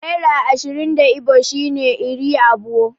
Naira ashirin da Igbo shine 'Iri abuo'.